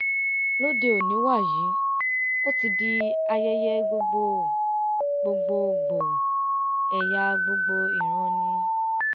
lóde òní wàyí ó ti di ayẹyẹ gbogbo gbòò gbogbo ẹ̀yà gbogbo ìran ni